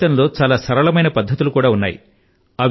ఎంతో సరళమైనటువంటి టెక్నిక్ లు ఉన్నాయి